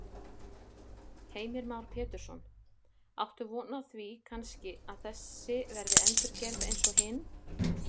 Heimir Már Pétursson: Áttu von á því kannski að þessi verði endurgerð eins og hin?